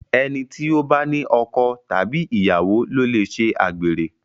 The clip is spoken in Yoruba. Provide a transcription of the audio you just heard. ẹní tí o bá ní ọkọ Tàbí ìyàwó lo lẹ ṣe àgbèrè